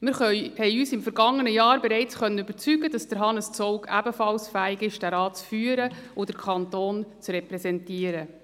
Wir konnten uns im vergangenen Jahr bereits überzeugen, dass Hannes Zaugg ebenfalls fähig ist, diesen Rat zu führen und den Kanton zu repräsentieren.